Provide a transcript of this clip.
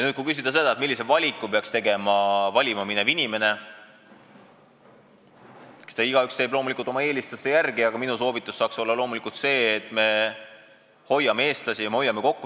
Kui küsida seda, millise valiku peaks tegema selle valiku ees seisev inimene – eks igaüks teeb selle loomulikult oma eelistuste järgi, aga minu soov on loomulikult see, et me hoiame eestlasi ja me hoiame kokku.